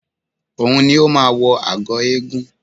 Òun ni ó máa wọ agọ̀ eégún